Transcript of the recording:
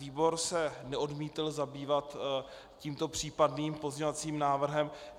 Výbor se neodmítl zabývat tímto případným pozměňovacím návrhem.